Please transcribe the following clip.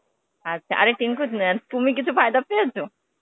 আচ্ছা, আরে টিঙ্কু, তুমি কিছু ফায়দা পেয়েছো?